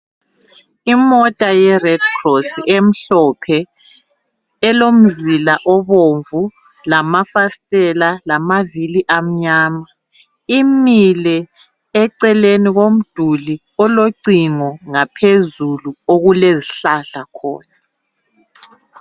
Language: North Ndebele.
Imota yeRed Cross emhlophe elomzila obomvu lamafasitela lamavili amnyama imile eceleni komduli olocingo ngaphezulu okulezihlahla khona.